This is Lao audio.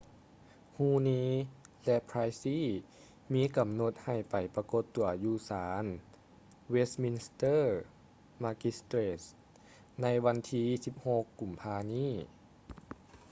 huhne ແລະ pryce ມີກຳນົດໃຫ້ໄປປາກົດຕົວຢູ່ສານ westminster magistrates ໃນວັນທີ 16 ກຸມພານີ້